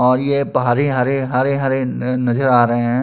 और ये भारे हरे- हरे हरे- हरे नजर अ आ रहे है ।